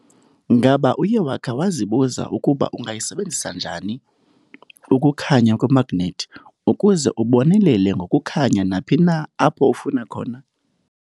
Ngaba uye wakha wazibuza ukuba ungayisebenzisa njani ukukhanya kwemagnethi ukuze ubonelele ngokukhanya naphi na apho ufuna khona?